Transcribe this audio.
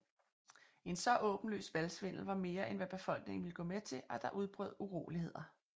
En så åbenlys valgsvindel var mere end hvad befolkningen ville gå med til og der udbrød uroligheder